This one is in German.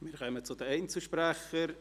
Wir kommen zu den Einzelsprechern: